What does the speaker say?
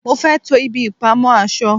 mo fé to ibi ìpamọ́ aṣọ